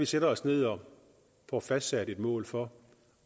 sætter os ned og får fastsat et mål for